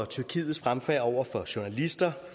tyrkiets fremfærd over for journalister